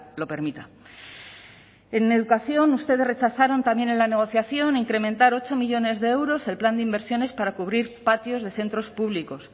lo permita en educación ustedes rechazaron también en la negociación incrementar ocho millónes de euros el plan de inversiones para cubrir patios de centros públicos